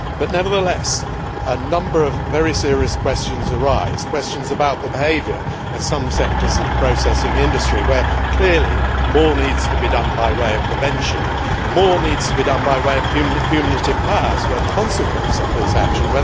Nevertheless, a number of very serious questions arise questions about the behaviour of some sectors of the processing industry where, clearly, more needs to be done by way of prevention, more needs to be done by way of punitive powers where the consequence of this action